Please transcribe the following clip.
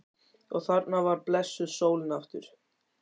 Og þarna var blessuð sólin aftur.